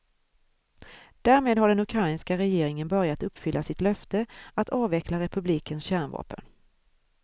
Därmed har den ukrainska regeringen börjat uppfylla sitt löfte att avveckla republikens kärnvapen.